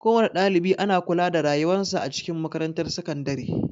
Kowana ɗalibi ana kula da rayuwan sa a cikin makarantar sakandare.